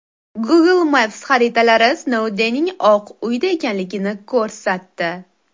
Google Maps xaritalari Snoudenning Oq uyda ekanligini ko‘rsatdi.